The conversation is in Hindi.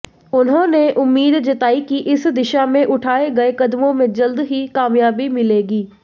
उन्होंने उम्मीद जताई कि इस दिशा मेें उठाए गए कदमों में जल्द ही कामयाबी मिलेगी